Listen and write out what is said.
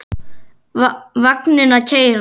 Vagninn að keyra.